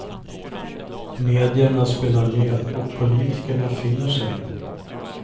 Medierna spelar med, och politikerna finner sig.